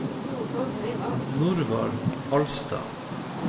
Norvald Alstad